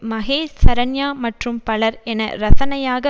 மகேஷ் சரண்யா மற்றும் பலர் என ரசனையாக